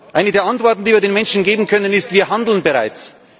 Eine der Antworten, die wir den Menschen geben können, ist Wir handeln bereits.